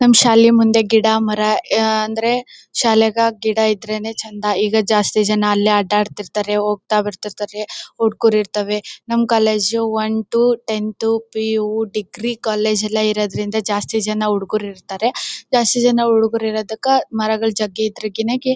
ನಮ್ ಶಾಲೆ ಮುಂದೆ ಗಿಡ ಮರ ಅಹ್ ಅಂದ್ರೆ ಶಾಲೆಗ ಗಿಡ ಇದ್ರೇನೆ ಚೆಂದ ಈಗ ಜಾಸ್ತಿ ಜನ ಅಲ್ಲೇ ಆಡ್ ಆಡ್ತಿರ್ತ್ತಾರೆ ಹೋಗ್ತಾ ಬಾರ್ ತೀರ್ತ್ತಾರೆ ಹುಡುಗರು ಇರ್ತವೆ ನಮ್ college one two ten PU degree college ಎಲ್ಲ ಇರೋದರಿಂದ ಜಾಸ್ತಿ ಜನ ಹುಡುಗರು ಇರ್ತ್ತರೆ ಜಾಸ್ತಿ ಜನ ಹುಡುಗರು ಇರತಕ ಮರಗಳ್ ಜಗ್ಗಿ ಇದ್ರೆ